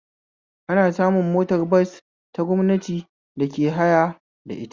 Ana samun motar bas ta gwamnati da ke haya da ita